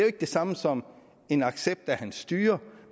ikke det samme som en accept af hans styre